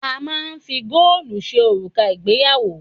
A máà ń fi góòlù ṣe òrùka ìgbéyàwó.